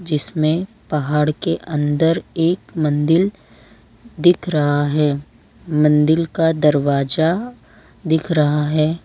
इसमें पहाड़ के अंदर एक मंदिल दिख रहा है मंदिल का दरवाजा दिख रहा है।